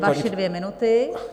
Vaše dvě minuty.